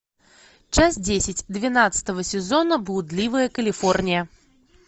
часть десять двенадцатого сезона блудливая калифорния